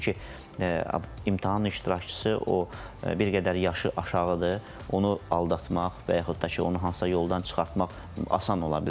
Çünki imtahan iştirakçısı o bir qədər yaşı aşağıdır, onu aldatmaq və yaxud da ki, onu hansısa yoldan çıxartmaq asan ola bilər.